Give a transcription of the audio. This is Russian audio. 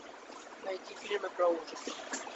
найти фильмы про ужасы